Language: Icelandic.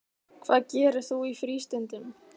Hvað gerir þú í frístundum?